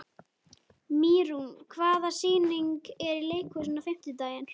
Mýrún, hvaða sýningar eru í leikhúsinu á fimmtudaginn?